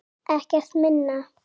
Ekkert minna!